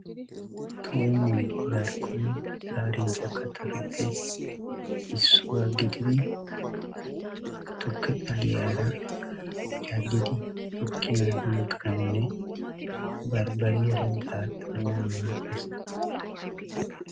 Tuummoy darkkonne daarinchcha kaattatuppe issuwaa gididi tukke xaliyaara cadiddi tukkiyaan yegganawnne barbariyaara daaxanawu maadees.